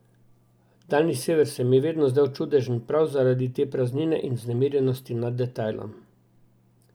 Daljni sever se mi je vedno zdel čudežen prav zaradi te praznine in vznemirjenosti nad detajlom.